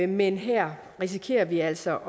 men her risikerer vi altså